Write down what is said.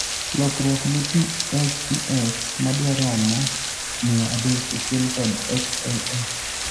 lokruok ne PHEX madwaromoi mia adek okel kod XLH